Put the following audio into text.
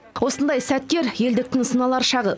осындай сәттер елдіктің сыналар шағы